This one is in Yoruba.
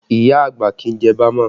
Iya àgbà kì í jẹ bama